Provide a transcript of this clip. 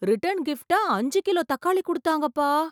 Return கிப்ட்டா அஞ்சு kilo தக்காளி குடுத்தாங்கப்பா.